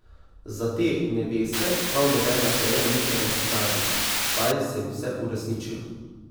Za te neveste prav nobena želja ni preveč skrajna, saj se jim vse uresničijo.